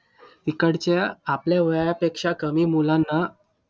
तिकडच्या आपल्या वयापेक्षा कमी मुलांना